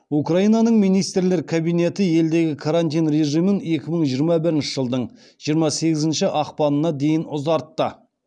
украинаның министрлер кабинеті елдегі карантин режимін екі мың жиырма бірінші жылдың жиырма сегізінші ақпанына дейін ұзартты